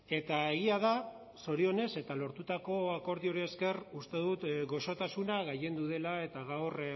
eta egia da zorionez eta lortutako akordioari esker uste dut goxotasuna gailendu dela eta gaur